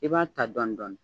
I b'a ta dɔɔnin dɔɔnin.